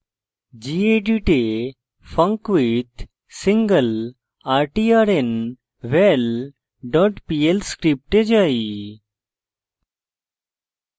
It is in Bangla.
gedit এ funcwithsinglertrnval dot pl script যাই